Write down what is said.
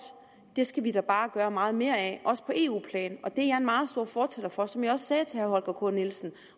skal vi da bare gøre meget mere af også på eu plan og en meget stor fortaler for som jeg også sagde til herre holger k nielsen